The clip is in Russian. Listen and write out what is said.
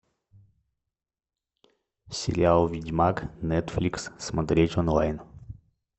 сериал ведьмак нетфликс смотреть онлайн